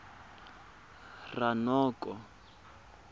ranoko